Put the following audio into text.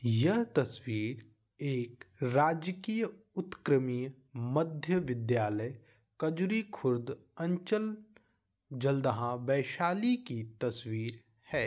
यह तस्वीर एक राजकीय उत्क्रमित मध्य विद्यालय कजरी खुर्द अंचल जन्दाहा वैशाली की तस्वीर है।